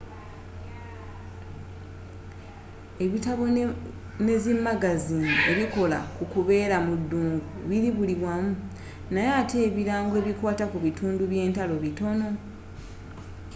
ebitabo ne zi magaziini ebikola ku kubeera mu dungu bili buli wamu naye ate ebirango ebikwaata ku bitundu byentalo bitono